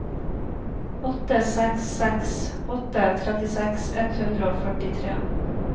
åtte seks seks åtte trettiseks ett hundre og førtitre